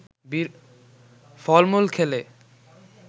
ফলমুল খেলে